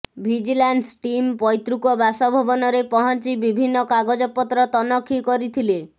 vigilance team ପୈତୃକ ବାସଭବନରେ ପହିଁଚି ବିଭିନ୍ନ କାଗଜପତ୍ର ତନଖି କରିଥିଲେ